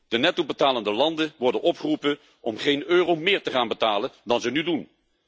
De nettobetalende landen worden opgeroepen om geen euro meer te gaan betalen dan ze nu doen.